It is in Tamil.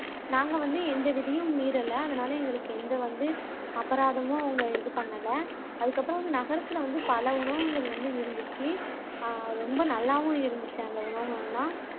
நாங்க வந்து எந்த விதியும் மீறல அதனால எங்களுக்கு எந்த வந்து அபராதமும் அவங்க இது பண்ணல அதுக்கப்பறம் வந்து நகரத்துல வந்து பல உணவுகள் வந்து இருந்துச்சு அஹ் ரொம்ப நல்லாவும் இருந்துச்சு அந்த உணவுகள் எல்லாம்